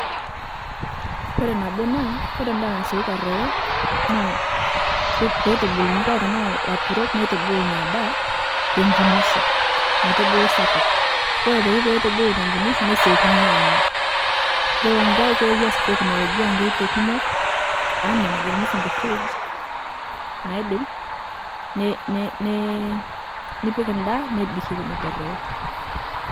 Kore nabo naa, kore ndaa naasioki aroyo naa peitubuluni kore taa laturok neitubulu inia daa tekinisho kore aitoki peetubulu tekinisho netesiokini anya. Yuolo nkae keewa sii teknolojia koito kumok ana najo msungu fridge ,naidim ne ne ne nipik ndaa nebik ewon etu eroyo.